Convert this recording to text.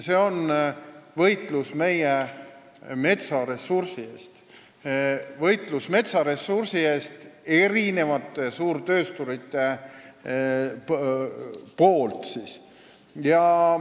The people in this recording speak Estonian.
See on võitlus meie metsaressursi eest, mida peavad meie suurtöösturid.